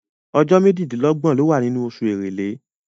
Ọjọ́ méjìdínlọ́gbọ̀ ló wà nínú oṣù Èrèlé.